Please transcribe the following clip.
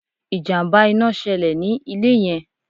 Ìjàmbá ina ṣẹlè ní ilé yẹn